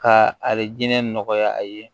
Ka ari jinɛ nɔgɔya a ye